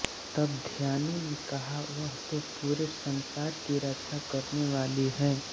तब ध्यानु ने कहा वह तो पूरे संसार की रक्षा करने वाली हैं